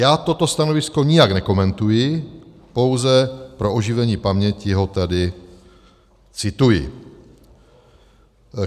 Já toto stanovisko nijak nekomentuji, pouze pro oživení paměti ho tady cituji.